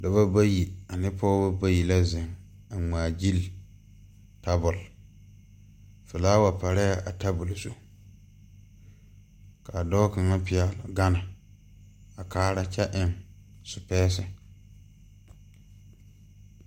Dɔbɔ bayi ane pɔɔbɔ bayibla zeŋ a ngmaagyile tabole flaawa parɛɛ a tabole zu kaa dɔɔ kaŋa pɛgle gane a kaara kyɛ eŋ sipɛɛsi.